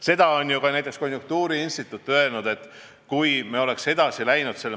Seda on ju ka näiteks konjunktuuriinstituut öelnud.